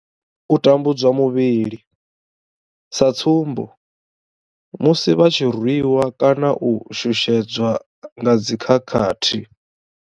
U tambudzwa muvhili, sa tsumbo, musi vha tshi rwiwa kana u shushedzwa nga dzi khakhathi.